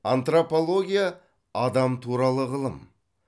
антропология адам туралы ғылым